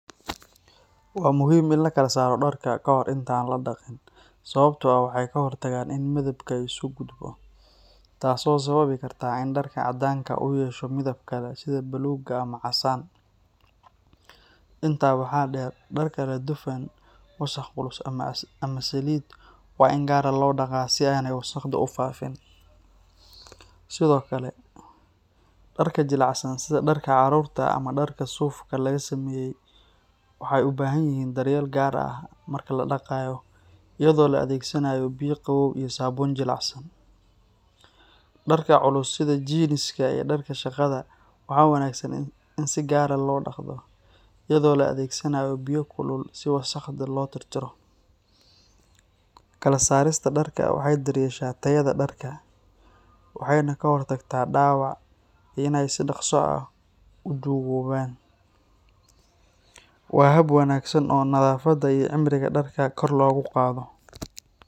Waa muhiim in la kala saaro dharka ka hor inta aan la daqin sababtoo ah waxay ka hortagtaa in midabku isu gudbo, taas oo sababi karta in dharka caddaanka ah uu yeesho midab kale sida buluug ama casaan. Intaa waxaa dheer, dharka leh dufan, wasakh culus, ama saliid waa in gaar loo dhaqaa si aanay wasakhdu u faafin. Sidoo kale, dharka jilicsan sida dharka carruurta ama dharka suufka laga sameeyay waxay u baahan yihiin daryeel gaar ah marka la dhaqayo, iyadoo la adeegsanayo biyo qabow iyo saabuun jilicsan. Dharka culus sida jiiniska iyo dharka shaqada waxaa wanaagsan in si gaar ah loo dhaqdo iyadoo la adeegsanayo biyo kulul si wasakhda loo tirtiro. Kala saarista dharka waxay daryeeshaa tayada dharka, waxayna ka hortagtaa dhaawac iyo in ay si dhakhso ah u duugoobaan. Waa hab wanaagsan oo nadaafadda iyo cimriga dharka kor loogu qaado.